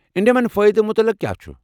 اندِمین فأیدن متعلق کیٛاہ چھ؟